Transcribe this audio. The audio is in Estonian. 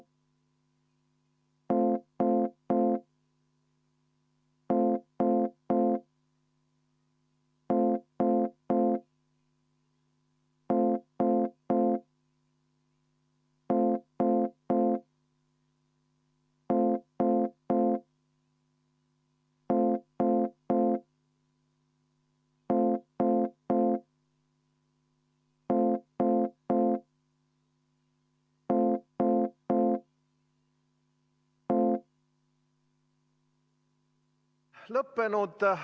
Vaheaeg on lõppenud.